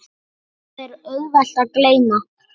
Það er auðvelt að gleyma.